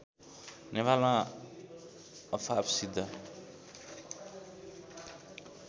नेपालमा अफाप सिद्ध